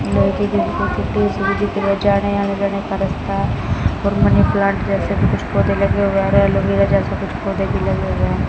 आने जाने का रास्ता और मनी प्लांट जैसे कुछ पौधे लगे हुए हैं और एलोवेरा जैसे कुछ पौधे भी लगे हुए है।